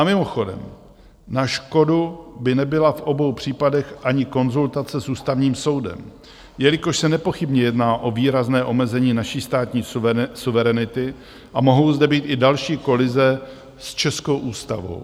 A mimochodem na škodu by nebyla v obou případech ani konzultace s Ústavním soudem, jelikož se nepochybně jedná o výrazné omezení naší státní suverenity a mohou zde být i další kolize s českou ústavou.